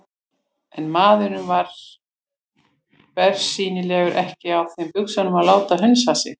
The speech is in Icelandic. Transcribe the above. En maðurinn var bersýnilega ekki á þeim buxunum að láta hunsa sig.